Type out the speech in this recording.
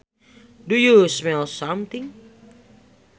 Do you smell something